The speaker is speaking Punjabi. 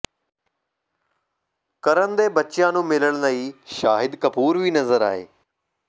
ਕਰਨ ਦੇ ਬੱਚਿਆਂ ਨੂੰ ਮਿਲਣ ਲਈ ਸ਼ਾਹਿਦ ਕਪੂਰ ਵੀ ਨਜ਼ਰ ਆਏ